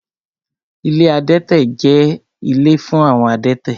Ilé adẹ́tẹ̀ jẹ́ ilé fún àwọn adẹ́tẹ̀